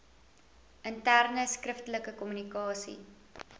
interne skriftelike kommunikasie